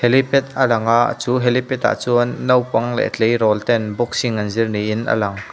helipad alang a chu helipad ah chuan naupang leh tleirawl ten boxing an zir niin a lang.